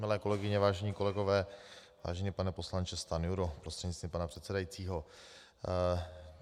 Milé kolegyně, vážení kolegové, vážený pane poslanče Stanjuro prostřednictvím pana předsedajícího.